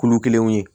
Kulu kelenw ye